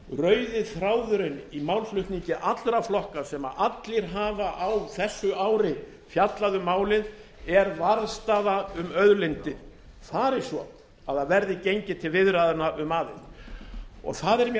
rauði þráðurinn í málflutningi allra flokka sem allir hafa á þessu ári fjallað um málið er varðstaða um auðlindir fari svo að gengið verði viðræðna um aðild það er mér